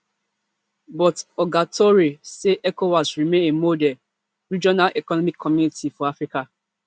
but oga touray say ecowas remain a model regional economic community for africa